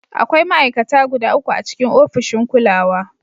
Akwai ma'aikata guda uku a cikin ofishin kulawa.